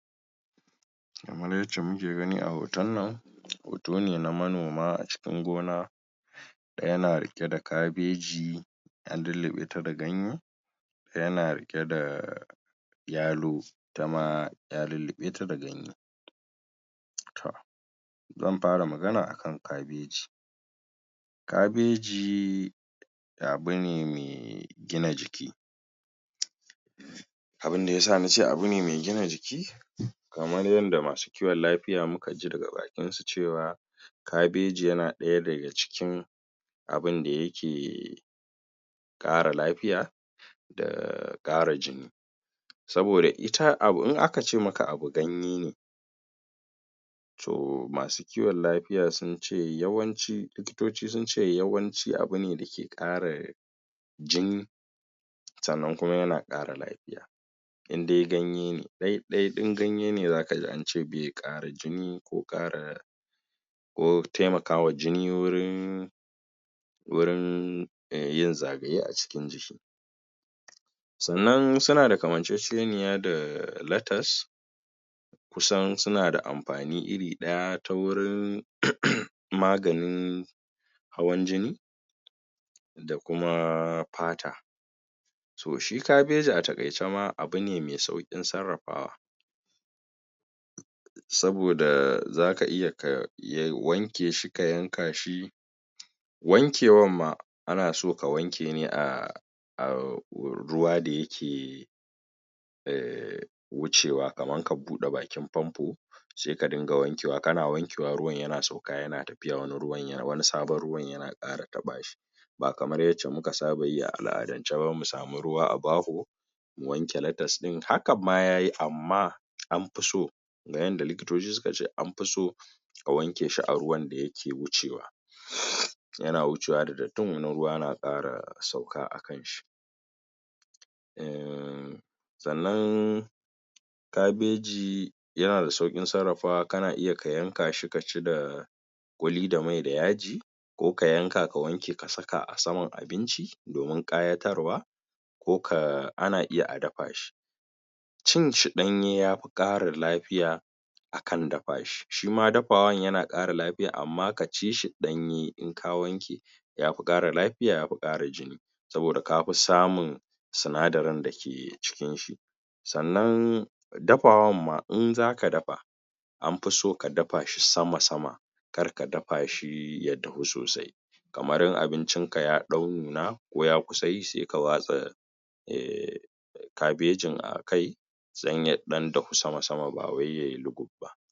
Kamra yacce muke gani a hoton nan hoto ne na manoma a cikin gona ɗaya na riƙe da kabeji an lulluɓe ta da ganye ɗaya na riƙe da yalo, ita ma ya lulluɓe ta da ganye to zan fara magana akan kabeji kabeji abu ne me gina jiki abinda yasa nace abu ne me gina jiki kamar yanda masu kiwon lafiya muka ji daga bakin su cewa kabeji yana ɗaya daga cikin abinda yake ƙara lafiya da ƙara jini saboda ita abu in aka ce maka abu ganye ne to masu kiwon lafiya sun ce yawanci likitoci sun ce yawanci abu ne dake ƙara jini sannan kuma yana ƙara lafiya in de ganye ne ɗai-ɗai ɗin ganye ne zaka ji ance be ƙara jini ko ƙara ko temaka wa jini wurin wurin yin zagaye a cikin jiki sannan suna da kamanceceniya da latas kusan suna da amfani iri ɗaya ta wurin magani hawan jini da kuma fata to shi kabeji a taƙaice ma abu ne me sauƙin sarrafawa saboda zaka iya ka wanke shi, ka yanka shi wankewan ma ana so ka wanke ne a a ruwa da yake eh wucewa kaman ka buɗe bakin fanfo sai ka dinga wankewa kana wankewa ruwan yana sauka yana tafiya wani sabon ruwan yana ƙara taɓa shi ba kamar yacce muka saba yi a al'adance ba mu samu ruwa a baho wanke latas ɗin hakan ma yayi amma anfi so na yanda likitoci suka ce anfi so ka wanke shi a ruwan da yake wucewa yana wucewa da dattin wani ruwa na ƙara sauka a kan shi ehm sannan kabeji yana da sauƙin sarrafawa kana iya ka yanka shi ka ci da wani da mai da yaji ko ka yanka ka wanke ka saka a saman abinci domin ƙayatarwa ko ka ana iya a dafa shi cin shi ɗanye ya fi ƙara lafiya akan dafa shi, shi ma dafawan yana ƙara lafiya amma ka ci shi ɗanye in ka wanke yafi ƙara lafiya, yafi ƙara jini saboda kafi samun sinadarin da ke cikin shi sannan dafawan ma, in zaka dafa anfi so ka dafa shi sama-sama kar ka dafa shi ya dahu sosai kamar in abincin ka ya ɗau nuna, ko ya kusa yi sai ka watsa eh kabejin a kai dan ya ɗan dahu sama-sama ba wai yai luguf ba.